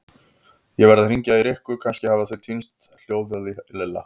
Ég verð að hringja í Rikku, kannski hafa þau týnst hljóðaði Lilla.